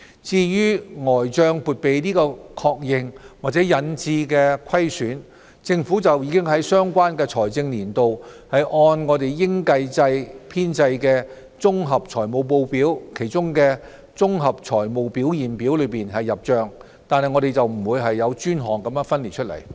至於呆帳撥備的確認或引致的虧損，政府已在相關財政年度按應計制編製的"綜合財務報表"中的綜合財務表現表入帳，惟沒有專項分列出來。